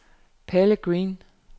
Palle Green